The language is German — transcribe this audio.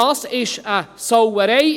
Das ist eine Sauerei.